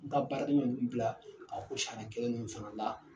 N ta baaraden ɲɔgɔn ninnu bila ka ko sariya kelen nin fɛnɛ la